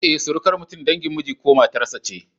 Eh, surukar mutum dangin miji ko matar sa ce